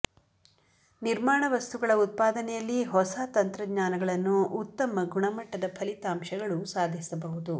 ನಿರ್ಮಾಣ ವಸ್ತುಗಳ ಉತ್ಪಾದನೆಯಲ್ಲಿ ಹೊಸ ತಂತ್ರಜ್ಞಾನಗಳನ್ನು ಉತ್ತಮ ಗುಣಮಟ್ಟದ ಫಲಿತಾಂಶಗಳು ಸಾಧಿಸಬಹುದು